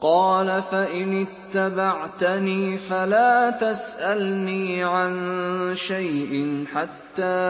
قَالَ فَإِنِ اتَّبَعْتَنِي فَلَا تَسْأَلْنِي عَن شَيْءٍ حَتَّىٰ